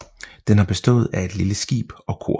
Den har bestået af et lille skib og kor